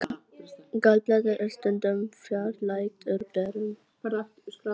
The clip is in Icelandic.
Gallblaðra er stundum fjarlægð úr berum.